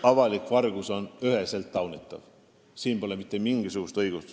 Avalik vargus on üheselt taunitav, sellele pole mitte mingisugust õigustust.